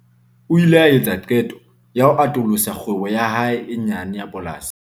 O ile a etsa qeto ya ho atolosa kgwebo ya hae e nyane ya polasi.